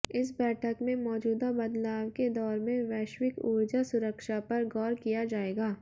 इस बैठक में मौजूदा बदलाव के दौर में वैश्विक ऊर्जा सुरक्षा पर गौर किया जायेगा